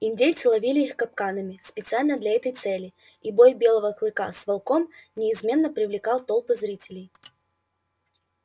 индейцы ловили их капканами специально для этой цели и бой белого клыка с волком неизменно привлекал толпы зрителей